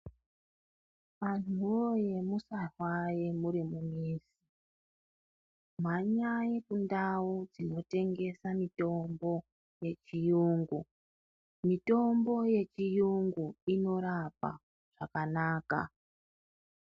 Anhuwoye musafa muri mumizi mhanyai kundau dzinotengeswa mitombo yechiyungu mitombo yechiyungu inorapa zvakanaka .